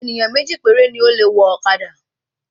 Ènìyàn méjì péré ni o le wọ ọ̀kadà